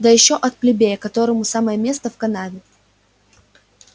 да ещё от плебея которому самое место в канаве